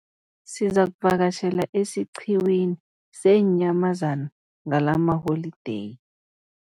Sizakuvakatjhela esiqhiwini seenyamazana ngalamaholideyi.